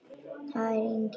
Það er enginn óþarfi.